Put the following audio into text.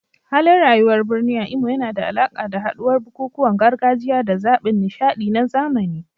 Halin rayuwar birni a Imo yana da alaƙa da haɗuwar bukukuwan gargajiya da zaɓin nishaɗi na zamani.